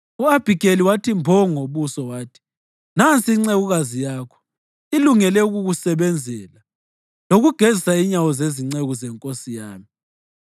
U-Abhigeli wathi mbo phansi ngobuso, wathi, “Nansi incekukazi yakho, ilungele ukukusebenzela lokugezisa inyawo zezinceku zenkosi yami.”